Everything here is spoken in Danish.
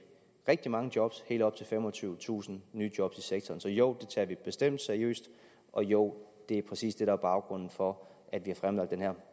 rigtig mange jobs helt op til femogtyvetusind nye jobs i sektoren så joh det tager vi bestemt seriøst og joh det er præcis det der er baggrunden for at vi har fremlagt den her